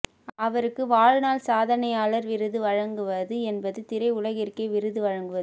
அவருக்கு வாழ்நாள் சாதனையாளர் விருது வழங்குவது என்பது திரை உலகிற்கே விருது வழங்குவது